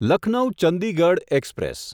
Lucknow Chandigarh express